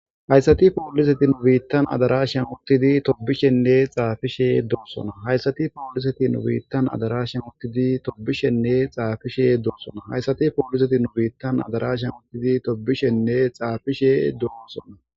hayssati pooliseti nu biittan adarashan uttidi tobishenne xaafishe doonsona hayssati pooliseti nubiittan adarashan uttidi toobishenne xaafishe doonsona hayssati pooliseti nu biittan adarashan uttidi tobishenne xaafishe doonsona